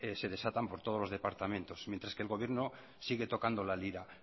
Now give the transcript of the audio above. de desatan por todos los departamentos mientras que el gobierno sigue tocando la lira